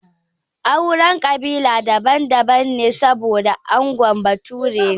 Auren kabila daban daban ne saboda angon bature ne